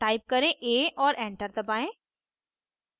type करें a और enter दबाएं